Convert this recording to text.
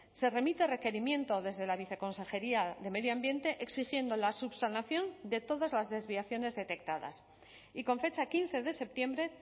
se remite requerimiento desde la viceconsejería de medio ambiente exigiendo la subsanación de todas las desviaciones detectadas y con fecha quince de septiembre